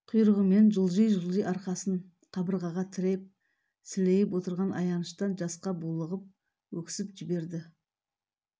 құйрығымен жылжи-жылжи арқасын қабырғаға тіреп сілейіп отырған аяныштан жасқа булығып өксіп жіберді